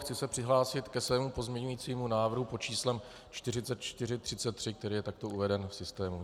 Chci se přihlásit ke svému pozměňovacímu návrhu pod číslem 4433, který je takto uveden v systému.